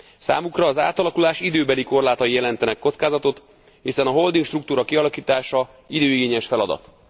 Számukra az átalakulás időbeli korlátai jelentenek kockázatot, hiszen a holding struktúra kialakítása időigényes feladat.